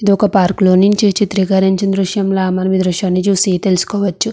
ఇది ఒక పార్కులో నుంచి చిత్రికరించిన దృశ్యం లాగా మన ఈ దృశ్యాన్ని చూసి తెలుసుకోవచ్చు.